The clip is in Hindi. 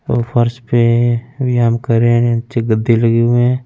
और फर्श पर रेन करे नीचे गदे लगे हुए है।